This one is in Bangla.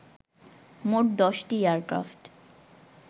মোট ১০টি এয়ারক্রাফট